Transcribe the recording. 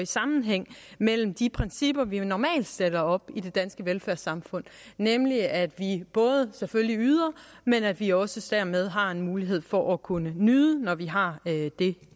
sammenhæng med de principper vi normalt stiller op i det danske velfærdssamfund nemlig at vi både selvfølgelig yder men at vi også dermed har en mulighed for at kunne nyde når vi har det